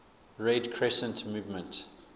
red crescent movement